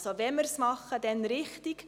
Also: Wenn wir es machen, dann richtig.